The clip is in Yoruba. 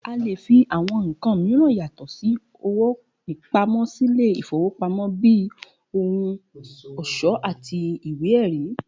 A lè fi àwo̩n nǹkan mìíràn yàtò̩ sí owó pamó̩ sílé ìfowópamó̩ bí i ohun ò̩s̩ó̩ àti ìwé è̩rí